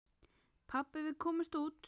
Pabbi, við komumst út!